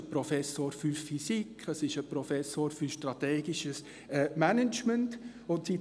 Es gibt einen Professor für Physik, einen Professor für strategisches Management und so weiter.